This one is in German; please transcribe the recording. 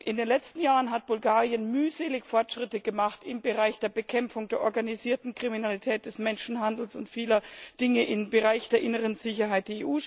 In den letzten Jahren hat Bulgarien mühselig Fortschritte gemacht im Bereich der Bekämpfung der organisierten Kriminalität, des Menschenhandels und vieler Dinge im Bereich der inneren Sicherheit.